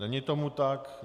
Není tomu tak.